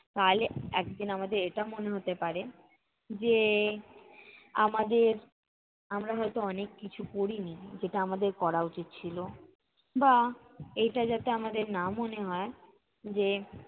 তাহলে একদিন আমাদের এটা মনে হতে পারে যে, আমাদের আমরা হয়ত অনেক কিছু করিনি যেটা আমাদের করা উচিৎ ছিল। বা, এটা যাতে আমাদের না মনে হয় যে